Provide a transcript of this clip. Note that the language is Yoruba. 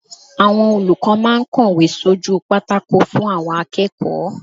Àwọn olùkọ́ máa ń kọ̀wé sójú pátákó fún àwọn akẹ́kọ̀ọ́.